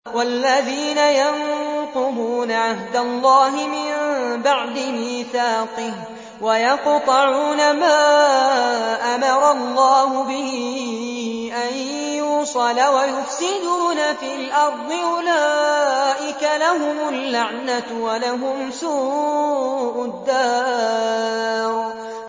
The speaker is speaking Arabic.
وَالَّذِينَ يَنقُضُونَ عَهْدَ اللَّهِ مِن بَعْدِ مِيثَاقِهِ وَيَقْطَعُونَ مَا أَمَرَ اللَّهُ بِهِ أَن يُوصَلَ وَيُفْسِدُونَ فِي الْأَرْضِ ۙ أُولَٰئِكَ لَهُمُ اللَّعْنَةُ وَلَهُمْ سُوءُ الدَّارِ